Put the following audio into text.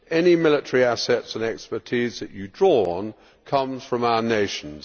Any military assets and expertise that you draw on come from our nations